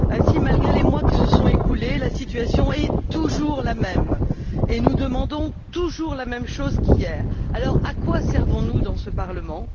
Ainsi, malgré les mois qui se sont écoulés, la situation est toujours la même et nous demandons toujours la même chose qu'hier. Alors, à quoi servons nous dans ce Parlement?